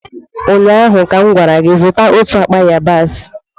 ụnyaahụ ka m gwara gị, zụta otu akpa yabasị!